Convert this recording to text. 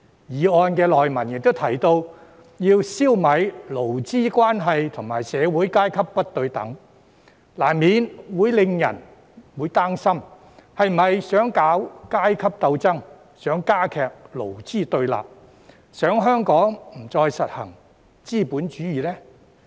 議案內文亦提及要"消弭勞資關係和社會階級不對等"，難免會教人擔心是否想搞階級鬥爭、想加劇勞資對立，想香港不再實行資本主義呢？